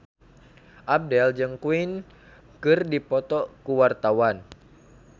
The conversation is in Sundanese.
Abdel jeung Queen keur dipoto ku wartawan